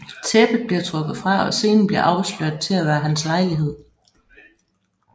Tæppet bliver trukket fra og scenen bliver afsløret at være til hans lejlighed